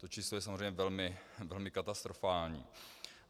To číslo je samozřejmě velmi katastrofální.